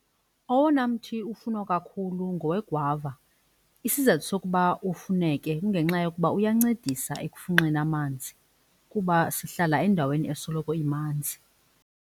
Owona mthi ufunwa kakhulu ngowegwava. Isizathu sokuba ufuneke kungenxa yokuba uyancedisa ekufunxeni amanzi kuba sihlala endaweni esoloko imanzi.